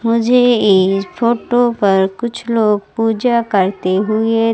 मुझे इस फोटो पर कुछ लोग पूजा करते हुए--